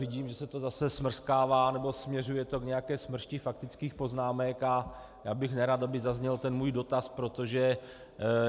Vidím, že se to zase smrskává nebo směřuje to k nějaké smršti faktických poznámek, a já bych nerad, aby zazněl ten můj dotaz, protože...